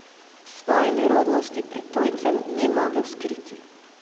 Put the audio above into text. Svoje nerodnosti pred tujcem ni mogel skriti.